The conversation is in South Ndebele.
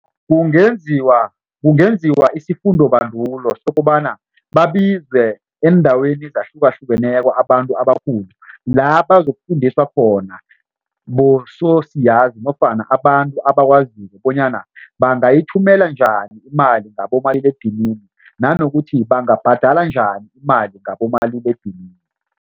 Kungenziwa isifundobandulo sokobana babizwe eendaweni ezahlukahlukeneko abantu abakhulu labazokufundiswa khona bososiyazi nofana abantu abakwaziko bonyana bangayithumela njani imali ngabomaliledinini nanokuthi bangabhadala njani imali ngabomaliledinini.